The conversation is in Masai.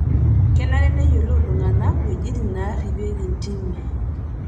Kenare neyiolou ltung'ana wuejitin naarripieki ntimi